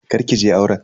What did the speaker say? Kar ki je auren.